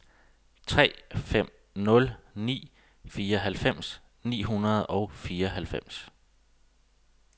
tre fem nul ni fireoghalvfems ni hundrede og fireoghalvfems